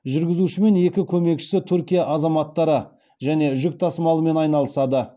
жүргізуші мен екі көмекшісі түркия азаматтары және жүк тасымалымен айналысады